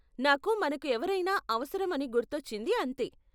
నాకు మనకు ఎవరైనా అవసరం అని గుర్తొచ్చింది అంతే.